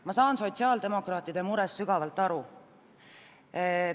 Ma saan sotsiaaldemokraatide murest aru.